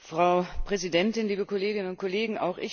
Frau Präsidentin, liebe Kolleginnen und Kollegen!